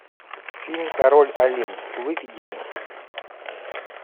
фильм король олень выведи мне